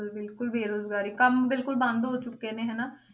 ਬਿਲਕੁਲ ਬਿਲਕੁਲ ਬੇਰੁਜ਼ਗਾਰੀ, ਕੰਮ ਬਿਲਕੁਲ ਬੰਦ ਹੋ ਚੁੱਕੇ ਨੇ ਹਨਾ।